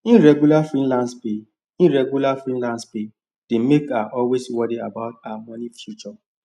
irregular freelance pay irregular freelance pay dey make her always worry about her money future